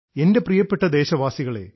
എൻറെ പ്രിയപ്പെട്ട ദേശവാസികളേ